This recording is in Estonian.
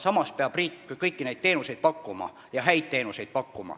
Samas peab riik pakkuma kõiki teenuseid ja häid teenuseid.